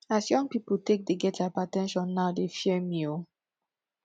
as young pipo take dey get hyper ten sion dey fear me o